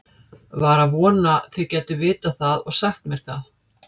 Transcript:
Var að vona þið gætuð vitað það og sagt mér það.